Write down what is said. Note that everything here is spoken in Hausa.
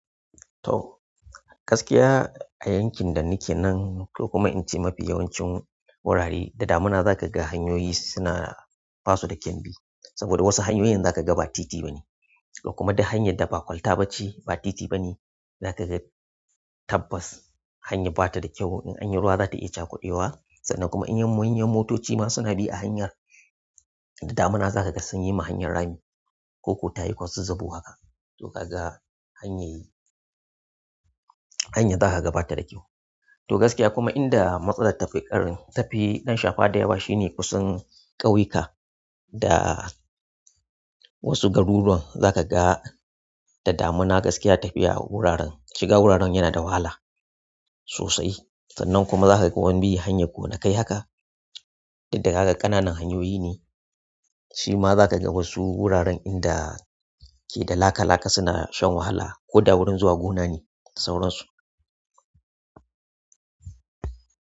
To gaskiya a yankin da nake nan to kuma ince mafi yawancin wurare da damina za ka ga hanyoyi suna basu da kyan bi. Saboda wasu hanyoyin za ka ga ba titi ba ne. Kuma duk hanyar da ba kwalta ba ce ba titi ba ne za ka ga tabbas hanyar ba ta da kyau. In anyi ruwa za ta iya cakuɗewa, sannan kuma in manyan motoci ma suna bi a hanyar. Da damina za ka ga sun yi ma hanyar rami ko ko tayi kwazazzabo haka. To kaga hanyar, hanyar zaka ga bata da kyau to gaskiya kuma inda matsalar ta fi ƙarfi, ta fi ɗan shafa da yawa shine kusan ƙauyuka da wasu garuruwan, za ka ga da damina gaskiya tafiya wuraren, shiga wuraren yana da wahala sosai. Sannan kuma za ka ga wan bi hanyar gonakai haka. Inda zaka ga ƙananan hanyoyi ne, shi ma za ka ga wasu wuraren inda ke da laka laka suna shan wahala ko da wurin zuwa gona ne sauransu.